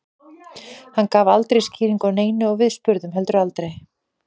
Hann gaf aldrei skýringu á neinu og við spurðum heldur aldrei.